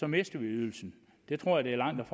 mister ydelsen det tror jeg langt